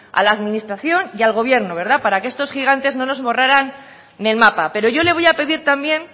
a la administración y al gobierno para que estos gigantes no nos borraran en el mapa pero yo le voy a pedir también